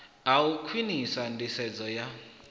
ha u khwinisa nḓisedzo ya